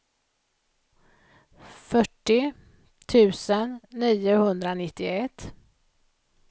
fyrtio tusen niohundranittioett